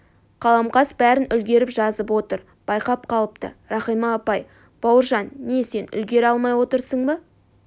қаламқас бәрін үлгеріп жазып отыр байқап қалыпты рахима апай бауыржан не сен үлгере алмай отырсың ба